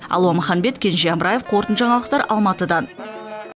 алуа маханбет кенже амраев қорытынды жаңалықтар алматыдан